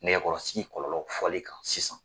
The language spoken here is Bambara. Nɛgɛkɔrɔsigi kɔlɔlɔ fɔli kan sisan.